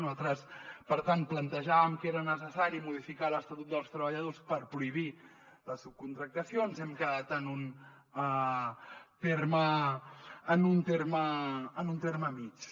nosaltres per tant plantejàvem que era necessari modificar l’estatut dels treballadors per pro·hibir la subcontractació ens hem quedat en un terme mitjà